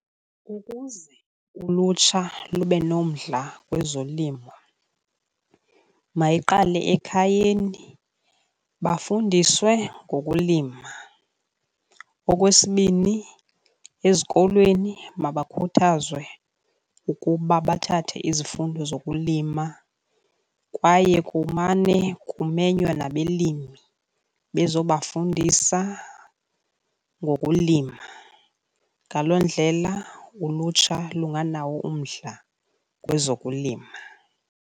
Ukuze ulutsha lube nomdla kwezolimo mayiqale ekhayeni bafundiswe ngokulima. Okwesibini, ezikolweni mabakhuthazwe ukuba bathathe izifundo zokulima kwaye kumane kumenywa nabelimi bezobafundisa ngokulima. Ngaloo ndlela ulutsha lunganawo umdla kwezokulima.